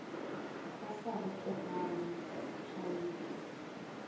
ba sa re tlogang tšhaile